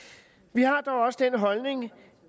vi har dog også den holdning